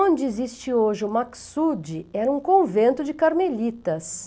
Onde existe hoje o Maksoud, era um convento de carmelitas.